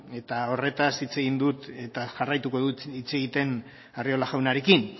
eta horretaz hitz egin dut eta jarraituko dut hitz egiten arriola jaunarekin